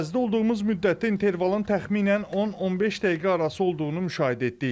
Ərazidə olduğumuz müddətdə intervalın təxminən 10-15 dəqiqə arası olduğunu müşahidə etdik.